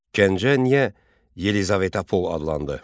Gəncə niyə Yelizavetapol adlandı?